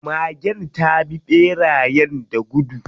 Magen ta bi ɓerayen da gudu.